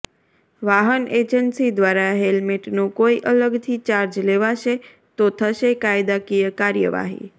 વાહન એજન્સી દ્વારા હેલ્મેટનો કોઈ અલગથી ચાર્જ લેવાશે તો થશે કાયદાકીય કાર્યવાહી